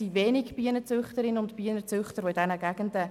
Es gibt wenige Bienenzüchterinnen und Bienenzüchter in diesen Gegenden.